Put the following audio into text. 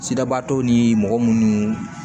Sidabaatɔw ni mɔgɔ munnu